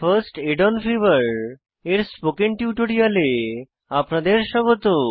first aid on fever এর spoken টিউটোরিয়ালে আপনাদের স্বাগত